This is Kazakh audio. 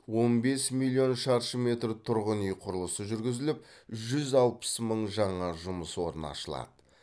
он бес миллион шаршы метр тұрғын үй құрылысы жүргізіліп жүз алпыс мың жаңа жұмыс орны ашылады